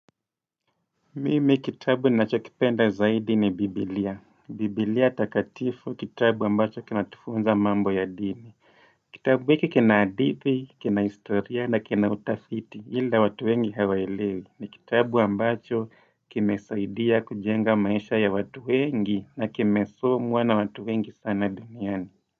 Mimi kitabu ninachokipenda zaidi ni Biblia. Biblia takatifu kitabu ambacho kina tufunza mambo ya dini. Kitabu hiki kina hadithi, kina historia na kina utafiti ila watu wengi hawaelewi ni kitabu ambacho kimesaidia kujenga maisha ya watu wengi na kimesomqa na watu wengi sana duniani.